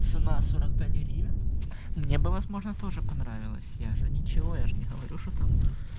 цена сорок пять гривен мне бы возможно тоже понравилась я же ничего я же не говорю что там